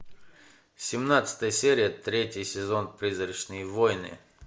семнадцатая серия третий сезон призрачные войны